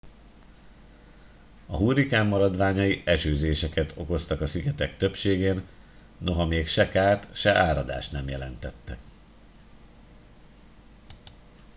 a hurrikán maradványai esőzéseket okoztak a szigetek többségén noha még se kárt se áradást nem jelentettek